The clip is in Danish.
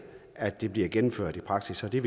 at det bliver gennemført i praksis og det